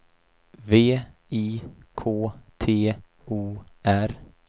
V I K T O R